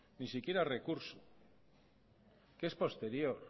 ni siquiera recursos que es posterior